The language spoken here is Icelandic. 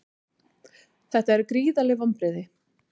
Þetta eru gríðarleg vonbrigði